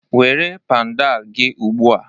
Were pandal gị ugbu a!